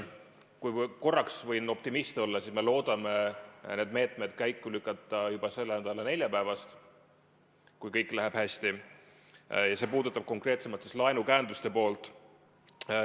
Kui võin korraks optimist olla, siis me loodame need meetmed käiku lükata juba selle nädala neljapäevast, kui kõik läheb hästi, see puudutab konkreetsemalt laenukäenduste poolt.